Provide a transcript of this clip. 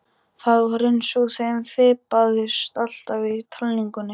Það var eins og þeim fipaðist alltaf í talningunni.